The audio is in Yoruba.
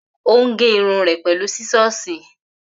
Ò ń gé irun rẹ pẹ̀lú sísọ́ọ̀sì.